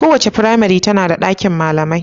Kowace firmare tana da ɗakin malamai.